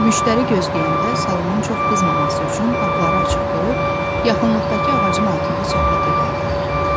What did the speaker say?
Müştəri gözləyəndə salonun çox qızmaması üçün qapıları açıq qoyub, yaxınlıqdakı ağacın altında söhbət edərdilər.